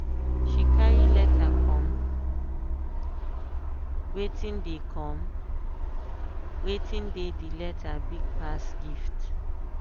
she carry letter comewatin dey comewatin dey the letter big pass gift.